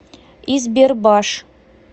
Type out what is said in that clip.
избербаш